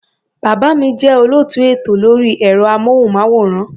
Bàbá mi jẹ́ olóòtú ètò lórí ẹ̀rọ-amóhùnmáwòrán.